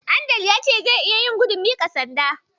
Adeel ya ce zai iya yin gudun miƙa sanda.